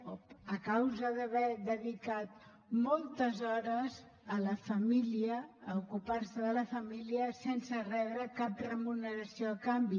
o a causa d’haver dedicat moltes hores a la família a ocupar se de la família sense rebre cap remuneració a canvi